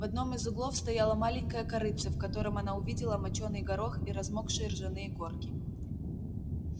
в одном из углов стояло маленькое корытце в котором она увидела мочёный горох и размокшие ржаные корки